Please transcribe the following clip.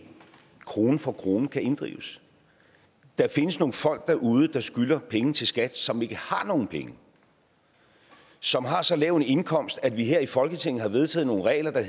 krone for krone kan inddrives der findes nogle folk derude der skylder penge til skat som ikke har nogen penge som har så lav en indkomst at vi her i folketinget har vedtaget nogle regler der